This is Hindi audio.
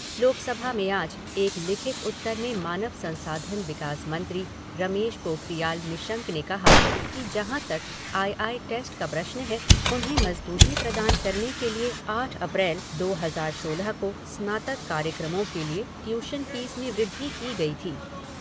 लोकसभा में आज एक लिखित उत्तर में मानव संसाधन विकास मंत्री रमेश पोखरियाल निशंक ने कहा कि जहाँ तक आई आई टेस्ट का प्रश्न है उन्हें मजबूती प्रदान करने के लिए आठ अप्रैल दो हजार सोलह को स्नातक कार्याक्रमों के लिए टियूशन फ़ीस में वृद्धि की गई थी।